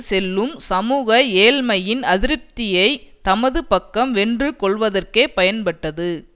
செல்லும் சமூக ஏழ்மையின் அதிருப்தியை தமது பக்கம் வென்று கொள்வதற்கே பயன்பட்டது